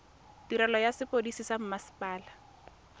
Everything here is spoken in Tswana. tirelo ya sepodisi sa mmasepala